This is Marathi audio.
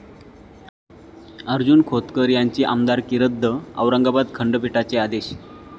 अर्जुन खोतकर यांची आमदारकी रद्द! औरंगाबाद खंडपीठाचे आदेश